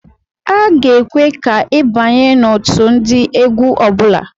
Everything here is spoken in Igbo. A ga-ekwe ka i abanye n'otu ndị egwu ọbụla.